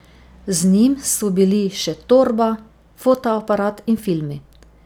Z njim so bili še torba, fotoaparat in filmi.